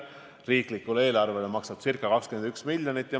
Riigieelarvele maksab see ca 21 miljonit.